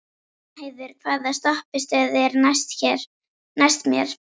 Jónheiður, hvaða stoppistöð er næst mér?